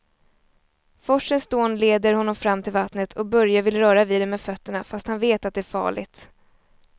Forsens dån leder honom fram till vattnet och Börje vill röra vid det med fötterna, fast han vet att det är farligt.